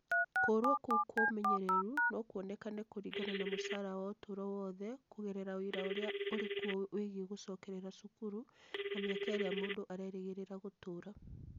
Kũũrũo kũu kwa ũmenyeru no kuonekane kũringana na mũcara wa ũtũũro wothe kũgerera ũira ũrĩa ũrĩ kuo wĩgiĩ gũcokerera cukuru na mĩaka ĩrĩa mũndũ arerĩgĩrĩra gũtũũra.